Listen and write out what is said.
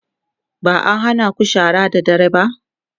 ba'a hanaku shara da dare ba?